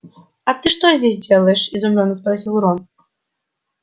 а ты что здесь делаешь изумлённо спросил рон